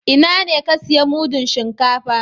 Ina ne ka siya mudun shinkafa?